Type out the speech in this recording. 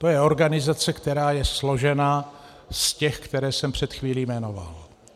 To je organizace, která je složena z těch, které jsem před chvílí jmenoval.